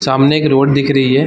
सामने एक रोड दिख रही है।